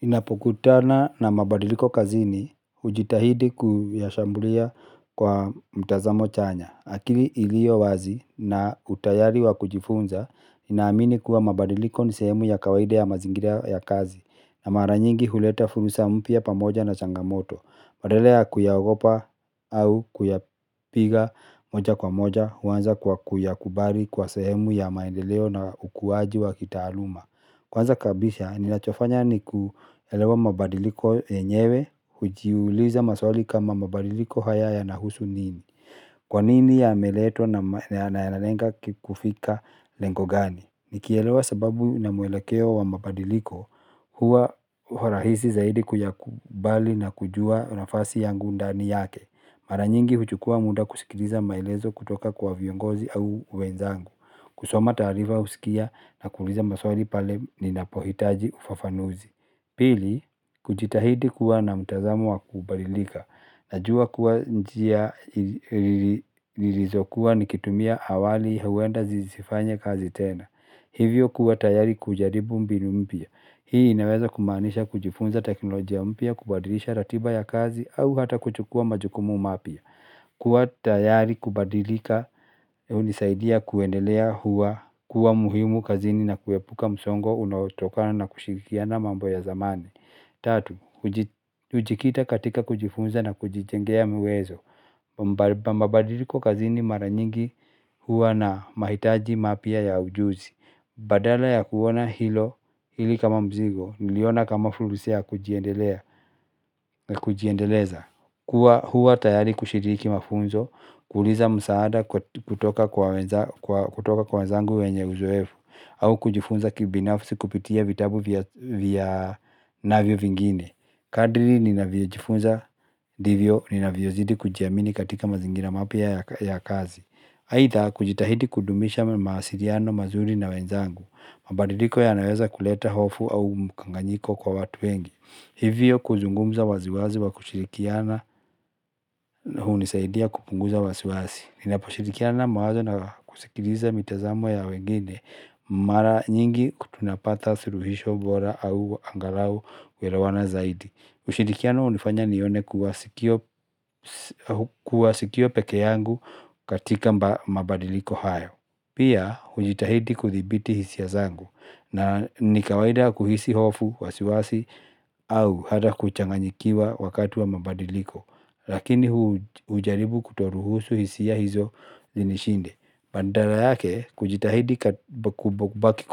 Ninapokutana na mabadiliko kazini, hujitahidi kuyashambulia kwa mtazamo chanya, akili ilio wazi na utayari wa kujifunza, ni naamini kuwa mabadiliko ni sehemu ya kawaida ya mazingira ya kazi. Na maranyingi huleta furusa mpya pamoja na changamoto. Badala ya kuyaogopa au kuyapiga moja kwa moja, huanza kwa kuyakubari kuwa sehemu ya maendeleo na ukuwaji wa kitaaluma. Kwanza kabisa, ninachofanya ni kuelewa mabadiliko yenyewe, hujiuliza maswali kama, mabadiliko haya yanahusu nini. Kwanini yameletwa na yanalenga kufika lengo gani? Nikielewa sababu na mwelekeo wa mabadiliko huwa rahisi zaidi kuyakubali na kujua nafasi yangu ndani yake. Mara nyingi huchukua muda kusikiliza maelezo kutoka kwa viongozi au wenzangu. Kusoma tarifa husikia na kuuliza maswali pale ninapohitaji ufafanuzi. Pili, kujitahidi kuwa na mtazamo wa kubadilika. Najua kuwa njia nilizokuwa nikitumia awali huenda zisifanye kazi tena. Hivyo kuwa tayari kujaribu mbinu mpya. Hii inaweza kumaanisha kujifunza teknolojia mpya, kubadilisha ratiba ya kazi au hata kuchukua majukumu mapya. Kuwa tayari kubadilika, hunisaidia kuendelea kuwa muhimu kazini na kuepuka msongo unaotokana na kushirikiana mambo ya zamani. Tatu, hujikita katika kujifunza na kujijengea uwezo. Mabadiliko kazini mara nyingi huwa na mahitaji mapya ya ujuzi. Badala ya kuona hili kama mzigo niliona kama fursa ya kujiendelea kujiendeleza. Huwa tayari kushiriki mafunzo, kuuliza msaada kutoka kwa wenzangu wenye uzoefu au kujifunza kibinafsi kupitia vitabu vya navyo vingine. Kadiri ninavyojifunza divyo, ninavyozidi kujiamini katika mazingira mapya ya kazi. Aitha kujitahidi kudumisha mawasiliano mazuri na wenzangu Mabadidiko yanaweza kuleta hofu au mkanganyiko kwa watu wengi. Hivyo kuzungumza waziwazi wa kushirikiana hunisaidia kupunguza wasiwasi. Ninaposhirikiana mawazo na kusikiliza mitazamo ya wengine, mara nyingi tunapata suluhisho bora au angalau kuelewana zaidi. Ushirikiano hunifanya nione kuwa kuwa siko peke yangu katika mabadiliko hayo. Pia, hujitahidi kuthibiti hisia zangu. Na nikawaida kuhisi hofu, wasiwasi au hata kuchanganyikiwa wakati wa mabadiliko. Lakini hujaribu kutoruhusu hisia hizo zinishinde. Badala yake kujitahidi kubaki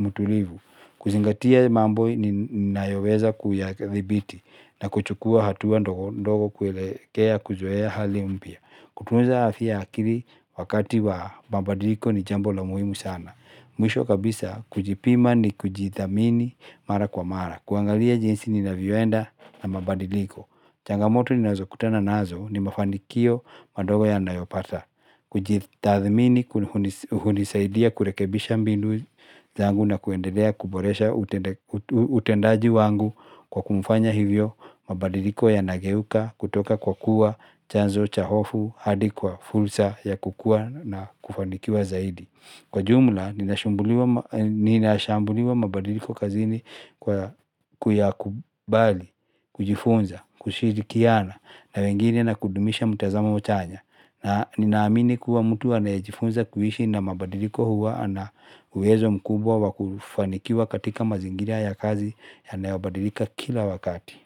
mtulivu, kuzingatia mambo ninayoweza kuyadhibiti na kuchukua hatua ndogo ndogo kuelekea kuzoea hali mpia. Kutunza afya ya akili wakati wa mabadiliko ni jambo la muhimu sana. Mwisho kabisa, kujipima ni kujidhamini mara kwa mara. Kuangalia jinsi ninavyoenda na mabadiliko Changamoto ninazo kutana nazo ni mafanikio madogo yanayopata Kujitathmini hunisaidia kurekebisha mbinu zangu na kuendelea kuboresha utendaji wangu kwa kufanya hivyo mabadiliko yanageuka kutoka kwa kuwa chanzo cha hofu hadi kwa fursa ya kukua na kufanikiwa zaidi. Kwa jumla, ninashambulia mabadiliko kazini kuyakubali, kujifunza, kushirikiana na wengine na kudumisha mtazamo chanya. Na ninaamini kuwa mtu anayejifunza kuishi na mabadiliko huwa na uwezo mkubwa wakufanikiwa katika mazingira ya kazi yanayobadilika kila wakati.